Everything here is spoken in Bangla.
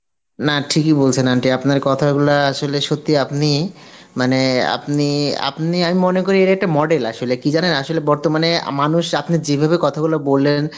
না ঠিকই বলছেন aunty, আপনার কথাগুলা আসলে সত্যিই আপনি মানে আপনি, আপনি আমি মনে করি এরা একটা model আসলে কি জানেন আসলে বর্তমানে মানুষ আপনি যেভাবে কথাগুলো বললেন